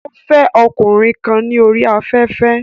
Ó fẹ́ ọkùnrin kan ní orí afẹ́fẹ́